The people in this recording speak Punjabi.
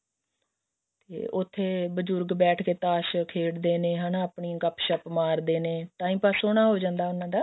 ਤੇ ਉੱਥੇ ਬਜੁਰਗ ਬੈਠ ਕੇ ਤਾਂਸ਼ ਖੇਡਦੇ ਨੇ ਹਨਾ ਆਪਣੀ ਗਪਸ਼ਪ ਮਾਰਦੇ ਨੇ time ਪਾਸ ਸੋਹਣਾ ਹੋ ਜਾਂਦਾ ਉਹਨਾ ਦਾ